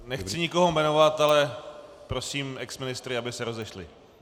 Nechci nikoho jmenovat, ale prosím exministry, aby se rozešli.